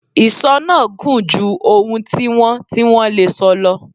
Ìsọ náà gùn ju ohun tí wọ́n tí wọ́n lè sọ lọ.